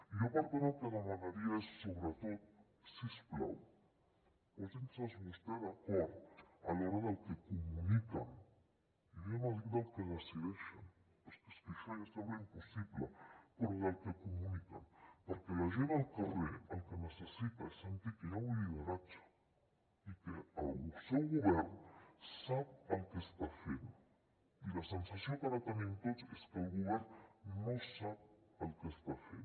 jo per tant el que demanaria és sobretot si us plau posin se vostès d’acord a l’hora del que comuniquen jo ja no dic del que decideixen perquè és que això ja sembla impossible però del que comuniquen perquè la gent al carrer el que necessita és sentir que hi ha un lideratge i que el seu govern sap el que està fent i la sensació que ara tenim tots és que el govern no sap el que està fent